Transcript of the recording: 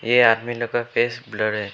ये आदमी लोग का फेस ब्लर है।